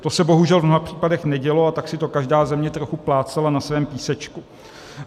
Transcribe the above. To se bohužel v mnoha případech nedělo, a tak si to každá země trochu plácala na svém písečku.